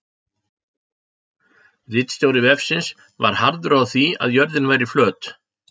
Ritstjóri vefsins var harður á því að jörðin væri flöt.